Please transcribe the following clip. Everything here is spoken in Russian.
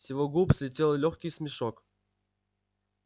с его губ слетел лёгкий смешок